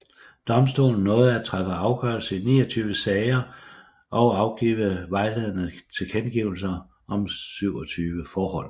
Domstolen nåede at træffe afgørelse i 29 sager og afgive vejledende tilkendegivelser om 27 forhold